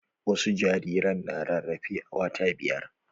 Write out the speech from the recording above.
Wasu jariran na rarafe a wata biyar.